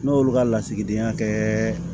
N'olu ka lasigidenya kɛ